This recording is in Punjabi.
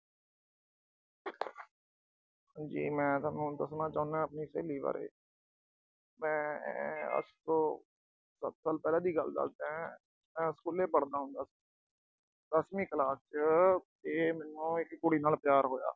ਜੀ ਮੈਂ ਤੁਹਾਨੂੰ ਦੱਸਣਾ ਚਾਹੁੰਦਾ ਆਪਣੀ ਸਹੇਲੀ ਬਾਰੇ। ਮੈਂ ਆਹ ਅੱਜ ਤੋਂ ਸਤ ਸਾਲ ਪਹਿਲਾ ਦੀ ਗੱਲ ਦੱਸਦਾ ਏ। ਮੈਂ school ਪੜ੍ਹਦਾ ਹੁੰਦਾ ਸੀ। ਦਸਵੀਂ class ਚ ਤੇ ਮੈਨੂੰ ਇੱਕ ਕੁੜੀ ਨਾਲ ਪਿਆਰ ਹੋਇਆ।